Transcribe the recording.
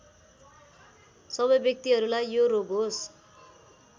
सबै व्यक्तिहरूलाई यो रोग होस्